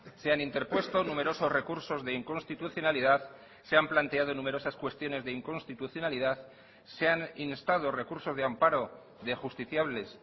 se han interpuesto numerosos recursos de inconstitucionalidad se han planteado numerosas cuestiones de inconstitucionalidad se han instado recursos de amparo de justiciables